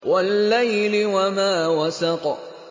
وَاللَّيْلِ وَمَا وَسَقَ